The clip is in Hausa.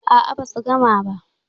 A'a, basu gama ba.